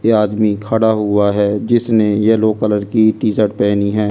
ये आदमी खड़ा हुआ है जिसने यलो कलर की टी-शर्ट पहनी है।